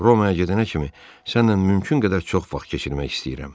Romaya gedənə kimi sənlə mümkün qədər çox vaxt keçirmək istəyirəm.